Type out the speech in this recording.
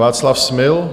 Václav Smil.